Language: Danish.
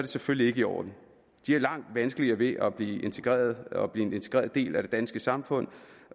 selvfølgelig ikke i orden de har langt vanskeligere ved at blive integreret og blive en integreret del af det danske samfund